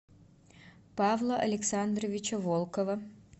павла александровича волкова